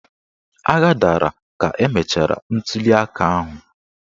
Agha dara ka emechara ntuliaka ahụ.